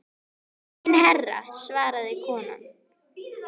Nei enginn herra svaraði konan.